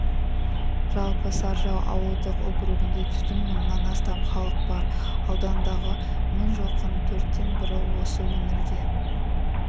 жалпы саржал ауылдық округінде түтін мыңнан астам халық бар аудандағы мың жылқының төрттен бірі осы өңірге